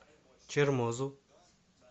чермозу